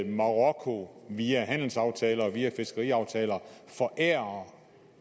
marokko via handelsaftaler og via fiskeriaftaler forærer